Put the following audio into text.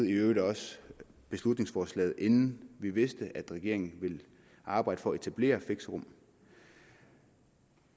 i øvrigt beslutningsforslaget inden vi vidste at regeringen ville arbejde for at etablere fixerum